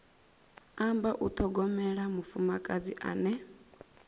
amba u ṱhogomela mufumakadzi ane